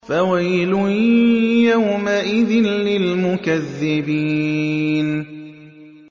فَوَيْلٌ يَوْمَئِذٍ لِّلْمُكَذِّبِينَ